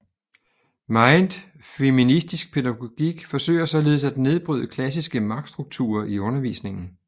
Meget feministisk pædagogik forsøger således at nedbryde klassiske magtstrukturer i undervisningen